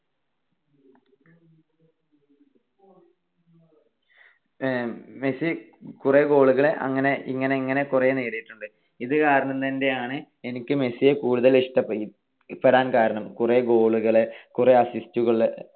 Messi കുറെ goal കൾ അങ്ങനെ ഇങ്ങനെ ഇങ്ങനെ കൊറേ നേടിട്ടുണ്ട്. ഇത് കാരണം കൊണ്ടാണ് എനിക്ക് മെസ്സിയെ കൂടുതൽ ഇഷ്ടപ്പെടാൻ കാരണം. കൊറേ goal കൾ കുറെ assist കൾ